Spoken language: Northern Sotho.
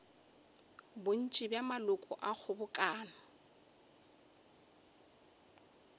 bontši bja maloko a kgobokano